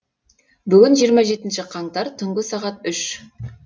бүгін жиырма жетінші қаңтар түнгі сағат үш